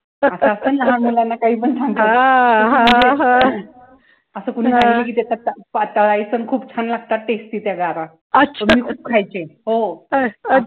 आता आपण लहान मुलांना काहीपण सांगतो असं कुणी सांगितलं कि त्याच्यात तुपात तळायचं आणि खूप छान लागतात tasty त्या गारा. ते मी खूप खायचे. हो